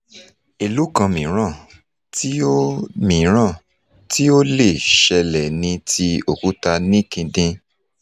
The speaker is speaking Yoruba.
èlòkan mìíràn ti ó mìíràn ti ó lè ṣẹlẹ̀ ni ti okuta níkidin